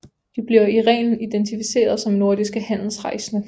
De bliver i reglen identificeret som nordiske handelsrejsende